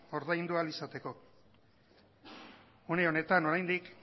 ordaindu ahal izateko une honetan oraindik